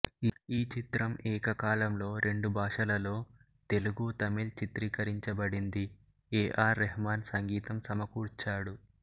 ఈ చిత్రం ఏకకాలంలో రెండుభాషలలో తెలుగు తమిళ్ చిత్రీకరించబడింది ఎ ఆర్ రెహమాన్ సంగీతం సమకూర్చాడు